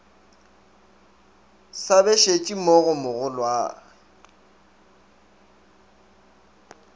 sa bešetše mo go mogolwagwe